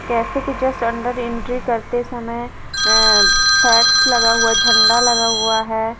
Cafe के just अंदर entry करते समय अ फ्लैक्स लगा हुआ झंडा लगा हुआ है।